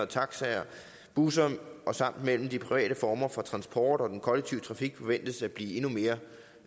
taxaer og busser samt mellem de private former for transport og den kollektive trafik forventes at blive endnu mere